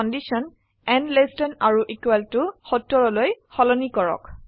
condition n less than or equal to 70 লৈ সলনি কৰক